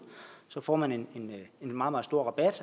så får man en meget meget stor rabat